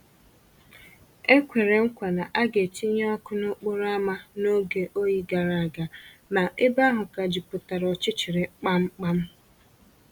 E kwèrè mkwa na a ga‑etinye ọkụ n’ókporo ámá n’oge oyi gara aga, ma ebe ahụ ka jupụtara ọchịchịrị kpamkpam